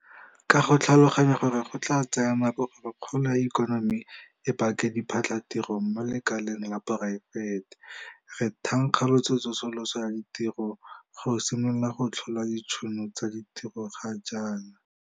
Ka go tlhaloganya gore go tla tsaya nako gore kgolo ya ikonomi e bake diphatlhatiro mo lekaleng la poraefete, re thankgolotse tsosoloso ya ditiro go simolola go tlhola ditšhono tsa ditiro ga jaana.